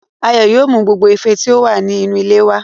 Ayọ̀ yóò mú gbogbo ife tí ó wà ní inú ilé wá